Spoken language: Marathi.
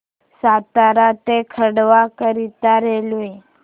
सातारा ते खंडवा करीता रेल्वे